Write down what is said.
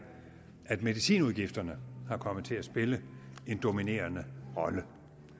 at medicinudgifterne er kommet til at spille en dominerende rolle